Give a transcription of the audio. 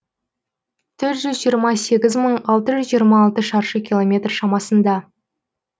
төрт жүз жиырма сегіз мың алты жүз жиырм алты шаршы километр шамасында